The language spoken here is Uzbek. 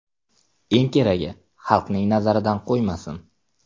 Eng keragi xalqning nazaridan qo‘ymasin.